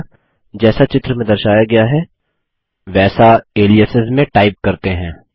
अतः जैसा चित्र में दर्शाया गया है वैसा एलियासेस में टाइप करते हैं